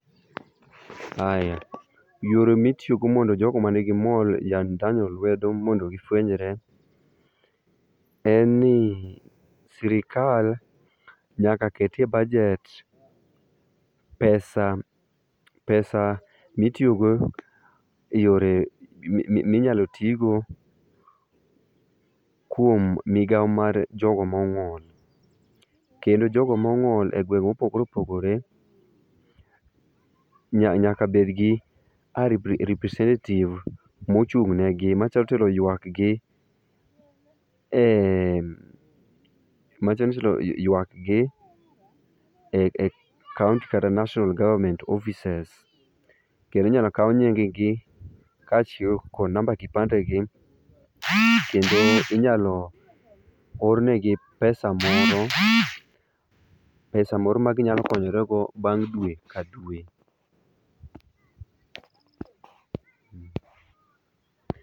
Aya, yore mitiyo go mondo jogo manigi ng'ol, ya ndhano lwedo mondo gifwenyre en ni sirkal nyaka ket e bajet pesa, pesa mitiyo go e yore minyalo tigo kuom migao mar jogo mong'ol. Kendo jogo mong'ol e gweng mopogore opogore nyaka bedgi a representative mochung ne gi manyalo tero ywak gi e ,matero ywak gi e kaunti kata national government offices kendo inyalo kaw nying gi kachiel kod namba kipande gi kendo inyalo ornegi pesa moro, pesa[sc] moro ma ginyalo konyore go bang dwe ka dwe